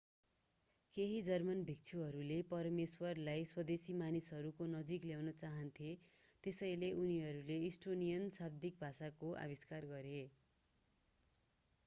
केही जर्मन भिक्षुहरूले परमेश्वरलाई स्वदेशी मानिसहरूको नजिक ल्याउन चाहन्थे त्यसैले उनीहरूले इस्टोनियन शाब्दिक भाषाको आविष्कार गरे